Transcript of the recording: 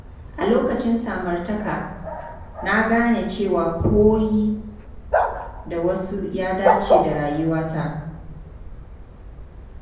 A lokacin samartaka, na gane cewa koyi da wasu ya dace da rayuwata.